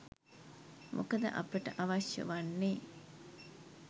මොකද අපට අවශ්‍ය වන්නේ